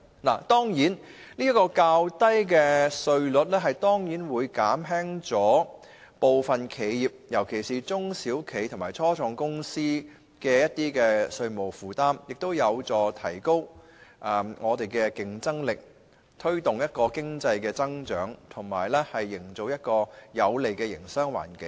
較低利得稅稅率當然會減輕部分企業，尤其是中小企及初創公司的稅務負擔，有助提高本港的競爭力，推動經濟增長，營造有利的營商環境。